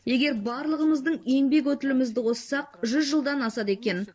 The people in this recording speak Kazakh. егер барлығымыздың еңбек өтілімізді қоссақ жүз жылдан асады екен